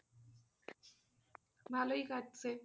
ভালোই কাটছে।